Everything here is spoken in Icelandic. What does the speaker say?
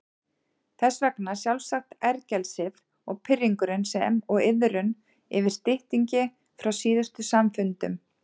Þess vegna sjálfsagt ergelsið og pirringurinn sem og iðrun yfir styttingi frá síðustu samfundum.